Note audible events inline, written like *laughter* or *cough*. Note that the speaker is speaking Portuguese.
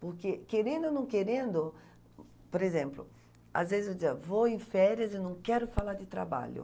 Porque querendo ou não querendo, por exemplo, às vezes eu *unintelligible* vou em férias e não quero falar de trabalho.